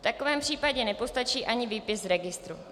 V takovém případě nepostačí ani výpis z registru.